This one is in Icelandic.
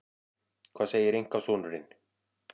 Hvað segir einkasonurinn?